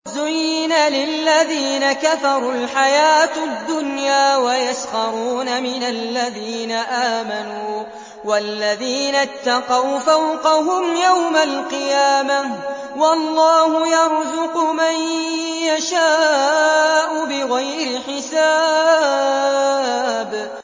زُيِّنَ لِلَّذِينَ كَفَرُوا الْحَيَاةُ الدُّنْيَا وَيَسْخَرُونَ مِنَ الَّذِينَ آمَنُوا ۘ وَالَّذِينَ اتَّقَوْا فَوْقَهُمْ يَوْمَ الْقِيَامَةِ ۗ وَاللَّهُ يَرْزُقُ مَن يَشَاءُ بِغَيْرِ حِسَابٍ